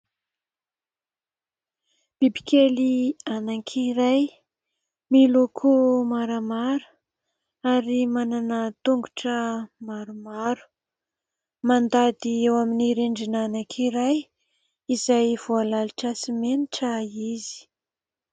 Bibikely anankiray miloko maramara ary manana tongotra maromaro. Mandady eo amin'ny rindrina anankiray izay voalalotra simenitra izy.